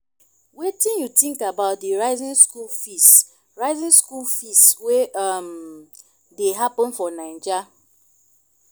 wetin you think about di rising school fees rising school fees wey um dey happen for naija?